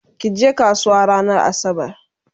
kije kasuwa ranar asabar!